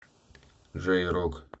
джей рок